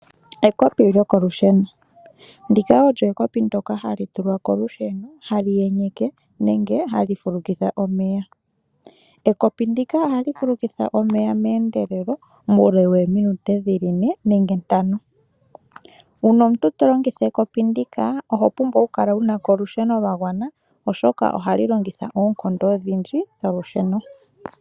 Ekopi lyokolusheno. Ndika olyo ekopi ndoka hali tulwa kolusheno hali enyeke nenge hali fulukitha omeya . Ekopi ndika ohali fulukitha omeya meendelelo muule wominute dhili ne nenge ntano. uuna omuntu to longitha ekopi ndika oho pumbwa okukala wunako olusheno lwagwana oshoka ohali longitha oonkondo odhindji dholusheno